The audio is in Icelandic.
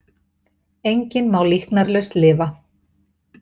Enginn má líknarlaust lifa.